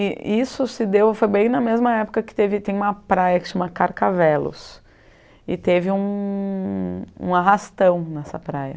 E isso se deu, foi bem na mesma época que teve, tem uma praia que se chama Carcavelos, e teve um um arrastão nessa praia.